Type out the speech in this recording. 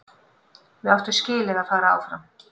Við áttum skilið að fara áfram.